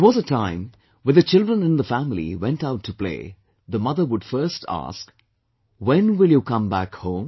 There was a time when the children in the family went out to play, the mother would first ask, "When will you come back home